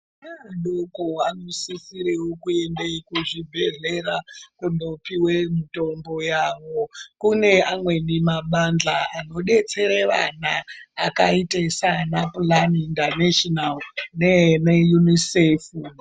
Ana adoko anosisirwwo kuende kuzvibhedhlera kundopiwe mitombo yawo kune amweni mabathla anodetsere vana akaite saana pulani indaneshinawu nana yunisefu.